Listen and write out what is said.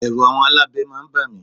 Ẹ̀rù àwọn alábẹ máa ń ba mi.